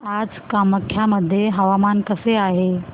आज कामाख्या मध्ये हवामान कसे आहे